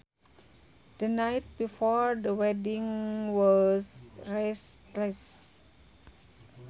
The night before the wedding was restless